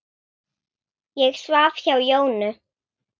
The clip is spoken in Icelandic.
Ég svaf hjá Jónu.